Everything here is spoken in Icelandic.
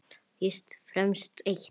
Fyrst og fremst eitt.